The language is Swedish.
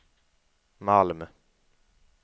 Malm